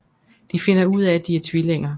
De finder ud af at de er tvillinger